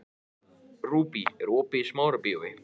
Rúbý, er opið í Smárabíói?